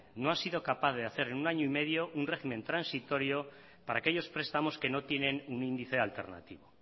no ha sido capaz de hacer en un año y medio un régimen transitorio para aquellos prestamos que no tienen un índice alternativo